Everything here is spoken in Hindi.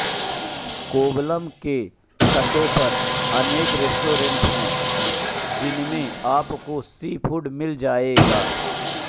कोवलम के तटों पर अनेक रेस्टोरेंट हैं जिनमें आपको सी फूड मिल जाएगें